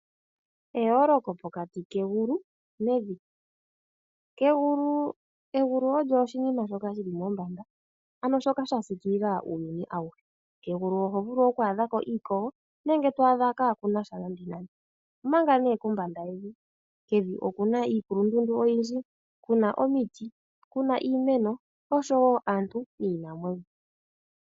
Eyooloko pokati kegulu nevi. Egulu olyo oshinima shoka shi li mombanda, ano shoka sha siikilila uuyuni awuhe. Kegulu oho vulu okwaadha ko iikogo, nenge to adha kaaku na sha nande nande. Omanga kombanda yevi, kevi oku na iikulundundu oyindji, ku na omiti, ku na iimeno, osho wo aantu niinamwenyo.